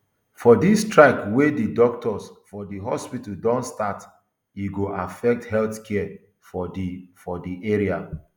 for dis strike wia di doctors for di hospital don start e go affect healthcare for di for di area